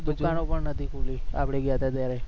દુકાનો પણ નથી ખુલી આપણે ગયા હતા જ્યારે